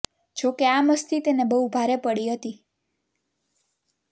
જો કે આ મસ્તી તેને બહુ ભારે પડી હતી